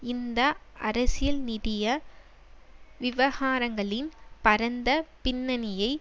இந்த அரசியல்நிதிய விவகாரங்களின் பரந்த பின்னணியை